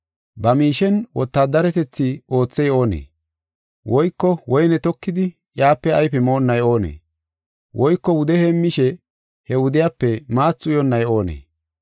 Ba miishen wotaadaretathi oothey oonee? Woyko woyne tokidi, iyape ayfe moonnay oonee? Woyko wude heemmishe, he wudiyape maathi uyonnay oonee?